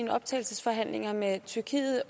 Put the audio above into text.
af optagelsesforhandlingerne med tyrkiet